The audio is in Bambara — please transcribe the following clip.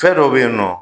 Fɛn dɔ be yen nɔ